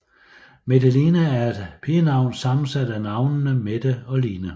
Metteline er et pigenavn sammensat af navnene Mette og Line